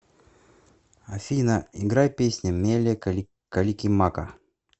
афина играй песня меле каликимака